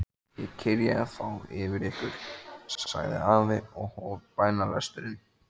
Ég kyrja þá yfir ykkur, sagði afi og hóf bænalesturinn.